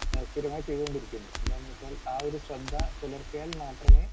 Speaker 2 ആഹ് സ്ഥിരമായി ചെയ്തുകൊണ്ടിരിക്കുന്നത്. എന്താന്ന് വെച്ചാൽ ആ ഒരു ശ്രദ്ധ പുലർത്തിയാൽ മാത്രമേ